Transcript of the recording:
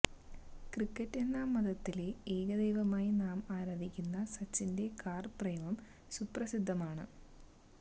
cricket എന്ന മതത്തിലെ ഏക ദൈവമായി നാം ആരാധിക്കുന്ന സച്ചിന്റെ കാർ പ്രേമം സുപ്രസിദ്ധമാണ്